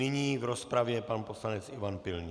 Nyní v rozpravě pan poslanec Ivan Pilný.